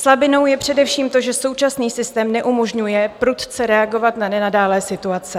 Slabinou je především to, že současný systém neumožňuje prudce reagovat na nenadálé situace.